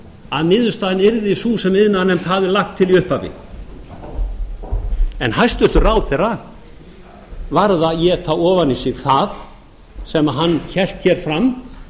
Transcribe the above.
að niðurstaðan yrði sú sem iðnaðarnefnd hafði lagt til í upphafi en hæstvirtur ráðherra varð að éta ofan í sig það sem hann hélt hér fram